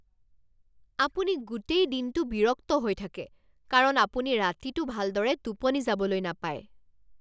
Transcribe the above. আপুনি গোটেই দিনটো বিৰক্ত হৈ থাকে কাৰণ আপুনি ৰাতিটো ভালদৰে টোপনি যাবলৈ নাপায়।